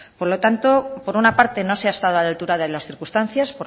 por lo tanto por una parte no se ha estado a la altura de las circunstancias